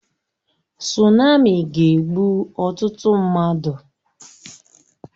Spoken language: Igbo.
Sunami ga-egbu ọtụtụ mmadụ